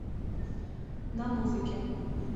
на музыке